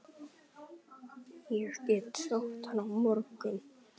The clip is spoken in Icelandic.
Ég get sótt hann á morgun.